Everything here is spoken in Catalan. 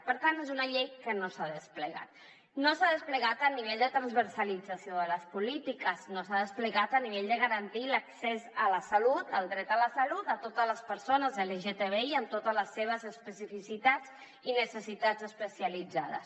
per tant és una llei que no s’ha desplegat no s’ha desplegat a nivell de transversalització de les polítiques no s’ha desplegat a nivell de garantir l’accés a la salut el dret a la salut a totes les persones lgtbi i amb totes les seves especificitats i necessitats especialitzades